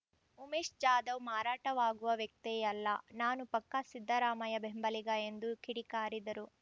ಉಮೇಶ್‌ ಜಾಧವ್‌ ಮಾರಾಟವಾಗುವ ವ್ಯಕ್ತಿಯಲ್ಲ ನಾನು ಪಕ್ಕಾ ಸಿದ್ದರಾಮಯ್ಯ ಬೆಂಬಲಿಗ ಎಂದು ಕಿಡಿಕಾರಿದರು